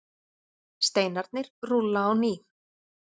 Steinarnir rúlla á ný